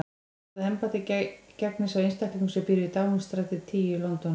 Hvaða embætti gegnir sá einstaklingur sem býr við Downingstræti tíu í London?